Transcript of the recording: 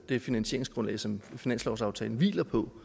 det finansieringsgrundlag som finanslovsaftalen hviler på